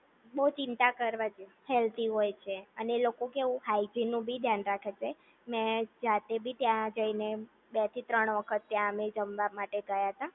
બોવ ચિંતા કરવા જેવું હેલ્ધી હોય છે અને એ લોકો કે કેવું હાયજીનનું પણ ધ્યાન રાખે છે મેં જાતે પણ ત્યાં જઈને બે થી ત્રણ વખત ત્યાં અમે જમવા માટે ગયા હતા